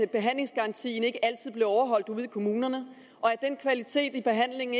behandlingsgarantien ikke altid blev overholdt ude i kommunerne og at den kvalitet i behandlingen